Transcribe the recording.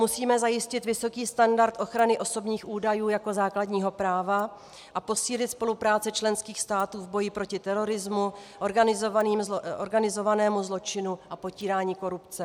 Musíme zajistit vysoký standard ochrany osobních údajů jako základního práva a posílit spolupráci členských států v boji proti terorismu, organizovanému zločinu a potírání korupce.